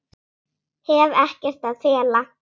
Hef ekkert að fela.